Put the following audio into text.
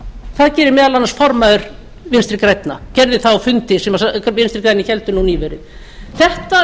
það gerir meðal annars formaður vinstri grænna gerði það á fundi sem vinstri grænir héldu nú nýverið þetta